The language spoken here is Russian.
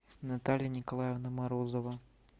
наталья николаевна морозова